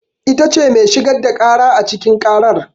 Ita ce mai shigar da ƙara a cikin ƙarar.